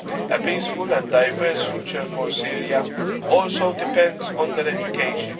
A peaceful and diverse future for Syria also depends on their education.